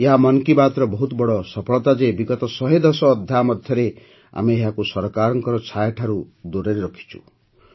ଏହା ମନ୍ କି ବାତ୍ର ବହୁତ ବଡ଼ ସଫଳତା ଯେ ବିଗତ ଶହେଦଶ ଅଧ୍ୟାୟ ମଧ୍ୟରେ ଆମେ ଏହାକୁ ସରକାରର ଛାୟାଠାରୁ ମଧ୍ୟ ଦୂରେଇ ରଖିଛୁ